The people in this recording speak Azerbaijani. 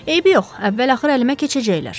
Eybi yox, əvvəl-axır əlimə keçəcəklər.